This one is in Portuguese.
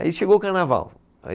Aí chegou o carnaval. Aí